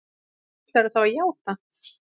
Og ætlarðu þá að játa?